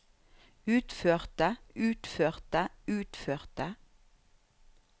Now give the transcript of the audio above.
utførte utførte utførte